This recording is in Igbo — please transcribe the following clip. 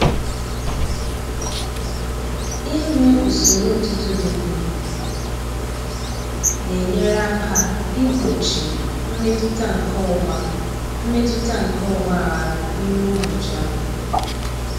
Inwe usoro ụtụtụ dị mma na-enyere aka igbochi mmetụta nke ọgba mmetụta nke ọgba aghara n'ime ụbọchị ahụ.